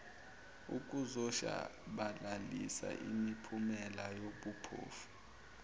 ukuzoshabalalisa imiphumela yobuphofu